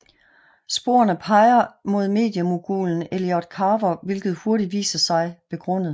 Sporene peger mod mediemogulen Elliot Carver hvilket hurtigt viser sig begrundet